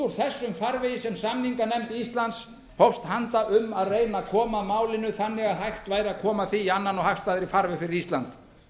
út úr þessum farvegi sem samninganefnd íslands hófst handa um að reyna að koma málinu þannig að hægt væri að koma því í annan og hagstæðari farveg fyrir ísland